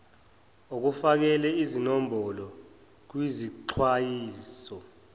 ukufakela izinombolo kwizixwayiso